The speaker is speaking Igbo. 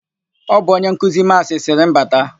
Ọ bụ onye nkuzi Maasị sịrị m bata.